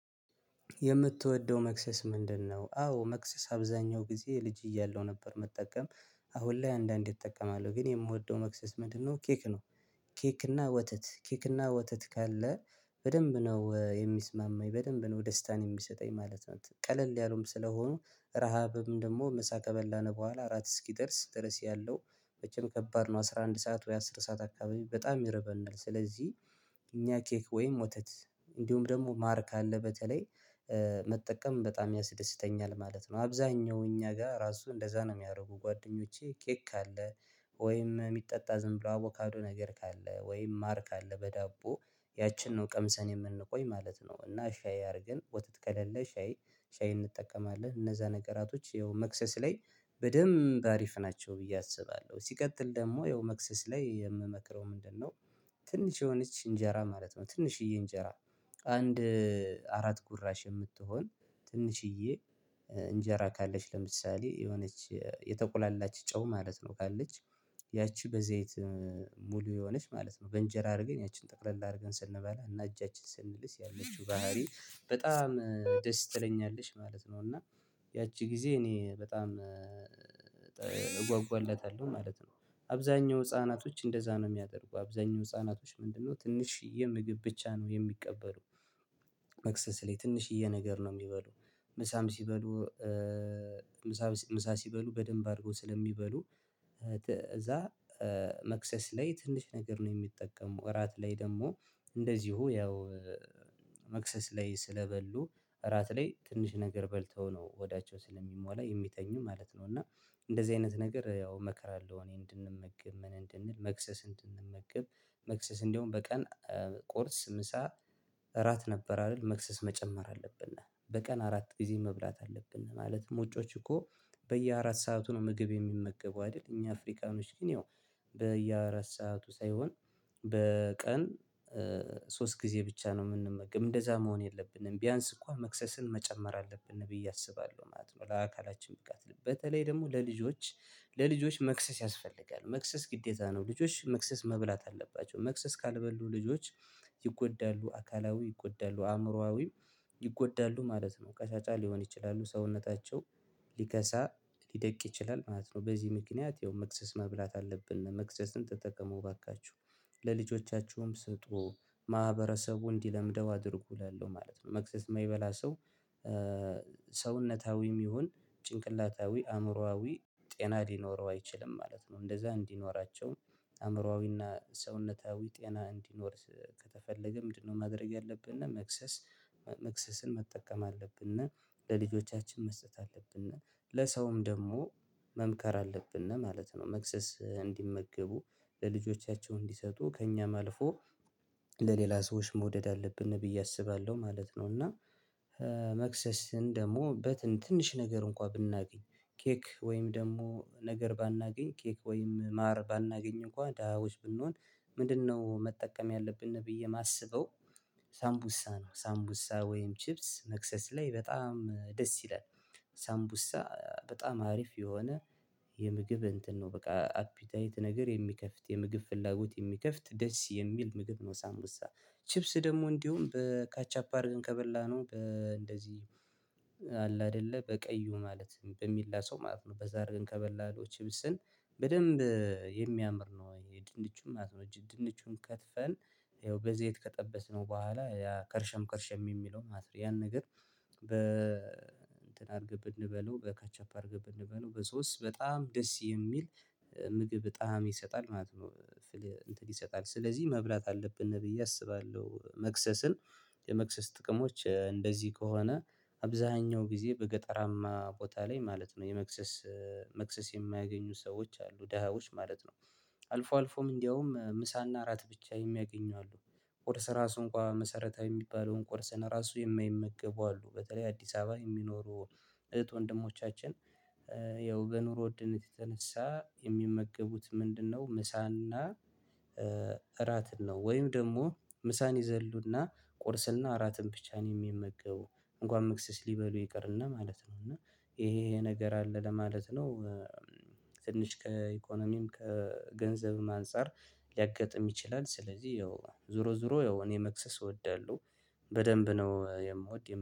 የምትወደው መክሰስ ምንድነው? አዎ መክሰስ አብዛኛው ጊዜ ልጅ እያለሁ ነበር ምጠቀም አሁን ላይ አንዳንዴ እጠቀማለሁ ግን የምወደው መክሰስ ኬክ ነው። ኬክ እና ወተት ኬክ እና ወተት ካለ በደንብ ነው የሚስማማኝ በደንብ ነው ደስታን የሚሰጠኝ ማለት ነው። ቀለል ያለውም ስለሆኑ ረሃብም ደግሞ ምሳ ከበላን ቦኋላ እራት እስኪደርስ ድረስ ያለው መቼም ከባድ ነው አስራ አንድ ሰዓት ወይ አስር ሰዓት አካባቢ በጣም ይረበናል ስለዚህ እኛ ኬክ ወይም ወተት እንዲሁም ደግሞ ማር ካለ በተለይ መጠቀም በጣም ያስደስተኛል ማለት ነው። አብዛኛው እኛ ጋ ራሱ እንደዛ ነው የሚያረጉ ጓደኞቼ ኬክ ካለ ወይም የሚጠጣ ዝም ብሎ አቮካዶ ነገር ካለ ወይም ማር ካለ በዳቦ ያቺን ነው ቀምሰን የምንቆይ ማለት ነው። እና ሻይ አርገን ወተት ከሌለ ሻይ ሻይ እንጠቀማለን እነዛ ነገራቶች ይኸው መክሰስ ላይ በደንብ አሪፍ ናቸው ብዬ አስባለሁ። ሲቀጥል ደግሞ ያው መክሰስ ላይ የምመክረው ምንድነው? ትንሽ የሆነች እንጄራ ማለት ነው። ትንሽዬ እንጄራ አንድ አራት ጉራሽ የምትሆን ትንሽዬ እንጄራ ካለች ለምሳሌ የሆነች የተቆላላች ጨው ማለት ነው ካለች ያቺ በዘይት ሙሉ የሆነች ማለት ነው በእንጄራ አርገን ያችን ጠቅለል አርገን ስንበላ እና እጃችን ስንልስ ያለችው ባህሪ በጣም ደስ ትለኛለሽ ማለት ነው እና ያቺ ጊዜ እኔ በጣም ማለት ነው አብዛኛው ህፃናቶች እንደዛ ነው የሚያደርጉ አብዛኛው ህፃናቶች ምንድነው ትንሽዬ ምግብ ብቻ ነው የሚቀበሉት መክሰስ ላይ ትንሽዬ ነገር ነው የሚበሉ ምሳም ሲበሉ ምሳ ሲበሉ በደንብ አርጎ ስለሚበሉ እዛ መክሰስ ላይ ትንሽ ነገር ነው የሚጠቀመው እራት ላይ ደግሞ እንደዚው ያው መክሰስ ላይ ስለበሉ እራት ላይ ትንሽ ነገር በልተው ነው ሆዳቸው ስለሚሞላ የሚተኙ ማለት ነው። እና እንደዚህ አይነት ነገር ያው አመክራለው እኔ እንድንመግብ ምን እንድንል መክሰስ እንድንመግብ መክሰስ እንደውም በቀን ቁርስ ምሳ እራት ነበር አይደል? መክሰስ መጨመር አለብን በቀን አራት ግዜ መብላት አለብን ማለትም ውጮች እኮ በየአራት ሰዓቱ ነው ምግብ የሚመገቡ አይደል? እኛ አፍሪካኖች ግን ያው በየአራት ሰዓቱ ሳይሆን በቀን ሶስት ጊዜ ብቻ ነው የምንመገብ እንደዛ መሆን የለብንም ቢያንስ እንኳን መክሰስን መጨመር አለብን ብዬ አስባለሁ ማለት ነው። ለአካላችን ብቃት በተለይ ደግሞ ለልጆች ለልጆች መክሰስ ያስፈልጋል መክሰስ ግዴታ ነው። ልጆች መክሰስ መብላት አለባቸው መክሰስ ካልበሉ ልጆች ይጎዳሉ አካላዊ ይጎዳሉ አእምሮአዊው ይጎዳሉ ማለት ነው። ቀጫጫ ሊሆን ይችላሉ ሰውነታቸው ሊከሳ ሊደቅ ይችላል ማለት ነው። በዚህ ምክንያት ያው ምክሰስ መብላት አለብን። መክሰስን ተጠቀሙ አባካችሁ ለልጆቻችሁም ስጡ። ማህበረሰቡ እንዲለምደው አድርጉ እላለሁ ማለት ነው። መክሰስ የማይበላ ሰው ሰውነታዊም ይሁን ጭንቅላታዊ አእምሮአዊ ጤና ሊኖረው አይችልም ማለት ነው። እንደዛ እንዲኖራቸው አእምሮአዊና ሰውነታዊ ጤና እንዲኖር ከተፈለገ ምንድነው ማድረግ ያለብን? መክሰስ መክሰስን መጠቀም አለብን አና ለልጆቻችን መስጠት አለብን አና ለሰውም ደግሞ መምከር አለብን ማለት ነው። መክሰስ እንዲመገቡ ለልጆቻቸው እንዲሰጡ ከእኛም አልፎ ለሌላ ሰዎች መውደድ አለብን ብዬ አስባለሁ ማለት ነው እና መክሰስን ደግሞ በትን ትንሽ ነገር እንኳ ብናገኝ ኬክ ወይም ደግሞ ነገር ባናገኝ ኬክ ወይም ማር ባናገኝ እንኳን ደሃዎች ብንሆን ምንድነው መጠቀም ያለብን ብዬ ማስበው ሳምቡሳ ነው። ሳምቡሳ ወይም ቺፕስ መክሰስ ላይ በጣም ደስ ይላል። ሳምቡሳ በጣም አሪፍ የሆነ የምግብ እንትን ነው። በቃ አፒታይት ነገር የሚከፍት የምግብ ፍላጎት የሚከፍት ደስ የሚል ምግብ ነው። ሳምቡሳ ቺፕስ ደግሞ እንዲሁም በካቻፕ አድርገን ከበላነው በእንደዚህ አለ አይደለ? በቀዩ ማለት በሚላሰው ማለት ነው። በዛ አድርገን ከበላነው ቺፕስን በደንብ የሚያምር ነው። የድንቹም ማለት ነው ድንቹን ከትፈን ይኸው በዘይት ከጠበስነው ቦኋላ ያ ከርሸም ከርሸም የሚለው ማስረጃ ያን ነገር በ እንትን አርገን ብንበላው በካቻፕ አርገን በንበላው በሶስት በጣም ደስ የሚል ምግብ ጣዕም ይሰጣል ማለት ነው። ስልህ አንትን ይሰጣል ስለዚህ መብላት አለብን ብዬ አስባለሁ መክሰስን የመክሰስ ጥቅሞች እንደዚህ ከሆነ አብዛኛው ጊዜ በገጠራማ ቦታ ላይ ማለት ነው የመክሰስ መክሰስ የማያገኙ ሰዎች አሉ ደሃዎች ማለት ነው። አልፎ አልፎም እንደውም ምሳና እራት ብቻ የሚያገኙ አሉ። ቁርስ ራሱ እንኳ መሰረታዊ የሚባለውን ቁርስን ራሱ የማይመገቡ አሉ በተለይ አዲስ አበባ የሚኖሩ እህት ወንድሞቻችን ያው በኑሮ ዉድነት የተነሳ የሚመገቡት ምንድነው? ምሳና እራት ነው ወይም ደግሞ ምሳን ይዘሉና ቁርስና እራትን ብቻ ነው የሚመገቡ። እንኳን መክሰስ ሊበሉ ይቀርና ማለት ነው እና ይሄ ይሄ ነገር አለ ለማለት ነው። ትንሽ ከኢኮኖሚም ከገንዘብም አንፃር ሊያገጥም ይችላል ስለዚህ ያው ዙሮ ዙሮ ያው እኔ መክሰስ እወዳለሁ በደንብ ነው የምወድ